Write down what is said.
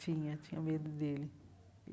Tinha, tinha medo dele.